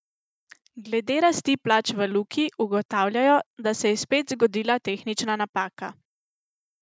Glede rasti plač v Luki ugotavljajo, da se je spet zgodila tehnična napaka.